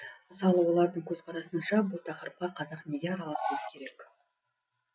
мысалы олардың көзқарасынша бұл тақырыпқа қазақ неге араласуы керек